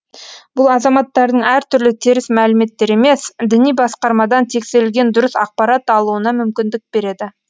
бұл азаматтардың әртүрлі теріс мәліметтер емес діни басқармадан тексерілген дұрыс ақпарат алуына мүмкіндік береді